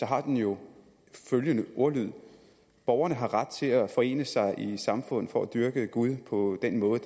har den jo følgende ordlyd borgerne har ret til at forene sig i samfund for at dyrke gud på den måde